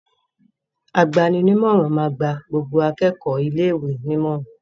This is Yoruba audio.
Agbani-nímọ̀ràn máa gba gbogbo akẹ́kọ̀ọ́ ilé-ìwé nímọ̀ràn.